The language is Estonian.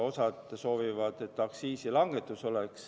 Osa soovib, et oleks aktsiisilangetus.